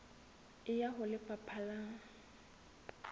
e ya ho lefapha la